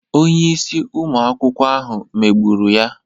Onye isi ụmụ akwụkwọ ahụ megburu ya.